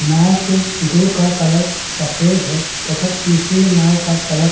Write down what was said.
नाँव के दो का कलर सफेद है तथा तीसरी नांव का कलर --